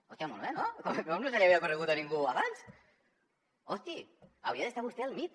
hòstia molt bé no com no se li havia ocorregut a ningú abans hosti hauria d’estar vostè al mit